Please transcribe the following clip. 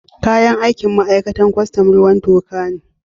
Kayan aikin ma'aikatan kwastam, ruwan toka ne.